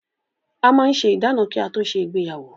A máa ń ṣe ìdána kí á tó ṣe ìgbéyàwó.